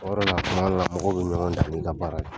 O de la kuma dɔw la mɔgɔw be ɲɔgɔn dan ni ka baara ye.